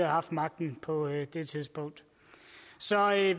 haft magten på det det tidspunkt så